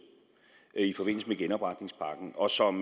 i forbindelse med genopretningspakken og som